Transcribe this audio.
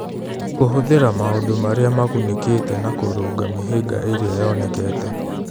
Kũhũthĩra maũndũ marĩa magunĩkĩte na kũrũnga mĩhĩnga ĩrĩa yonekete.